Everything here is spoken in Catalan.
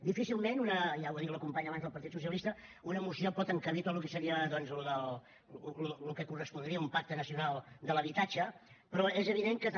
difícilment ja ho ha dit la companya abans del partit socialista una moció pot encabir tot el que correspondria a un pacte nacional de l’habitatge però és evident que també